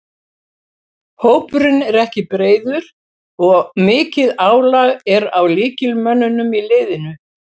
Hópurinn er ekki breiður og mikið álag er á lykilmönnunum í liðinu.